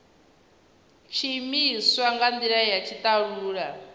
tshiimiswa nga ndila ya tshitalula